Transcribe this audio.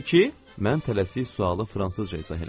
Mən tələsik sualı fransızca izah elədim.